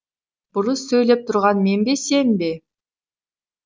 бұрыс сөйлеп тұрған мен бе сен бе